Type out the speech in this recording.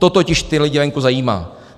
To totiž ty lidi venku zajímá.